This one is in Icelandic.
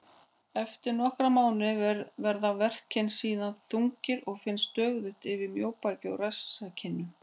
Eftir nokkra mánuði verða verkirnir síðan þungir og finnast stöðugt yfir mjóbaki og rasskinnum.